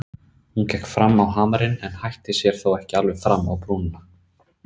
Hún gekk fram á hamarinn en hætti sér þó ekki alveg fram á brúnina.